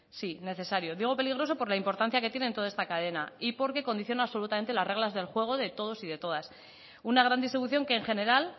sí necesario digo peligroso por la importancia que tiene en toda esta cadena y porque condiciona absolutamente las reglas del juego de todos y de todas una gran distribución que en general